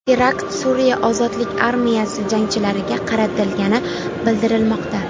Terakt Suriya ozodlik armiyasi jangchilariga qaratilgani bildirilmoqda.